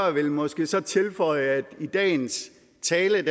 ville måske så tilføje at i dagens tale